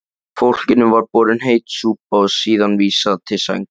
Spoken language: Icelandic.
Fólkinu var borin heit súpa og síðan vísað til sængur.